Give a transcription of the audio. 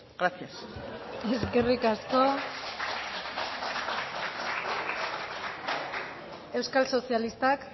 gracias eskerrik asko euskal sozialistak